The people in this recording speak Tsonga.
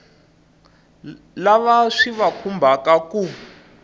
lava swi va khumbhaka ku